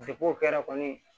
o kɛra kɔni